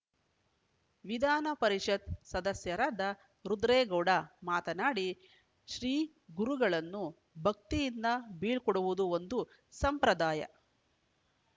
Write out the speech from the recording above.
ವಿಧಾನ ಪರಿಷತ್‌ ಸದಸ್ಯರಾದ ರುದ್ರೇಗೌಡ ಮಾತನಾಡಿ ಶ್ರೀ ಗುರುಗಳನ್ನು ಭಕ್ತಿಯಿಂದ ಬೀಳ್ಕೊಡುವುದು ಒಂದು ಸಂಪ್ರಾದಯ